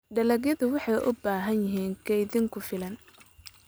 Dalagyadu waxay u baahan yihiin kaydin ku filan.